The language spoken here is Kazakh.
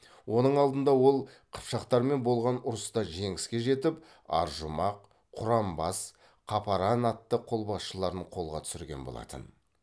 оның алдында ол қыпшақтармен болған ұрыста жеңіске жетіп аржұмақ құранбас қапаран атты қолбасшыларын қолға түсірген болатын